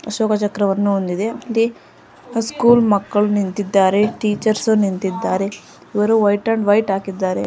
ಅಶೋಕ ಚಕ್ರವನ್ನು ಹೊಂದಿದೆ ಸ್ಕೂಲ್ ಮಕ್ಕಳು ನಿಂತಿದ್ದಾರೆ ಟೀಚರ್ಸ್ ನಿಂತಿದ್ದಾರೆ ಇವರು ವೈಟ್ ಅಂಡ್ ವೈಟ್ ಹಾಕಿದ್ದಾರೆ.